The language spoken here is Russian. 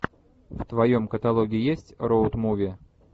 в твоем каталоге есть роуд муви